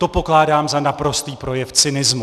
To pokládám za naprostý projev cynismu.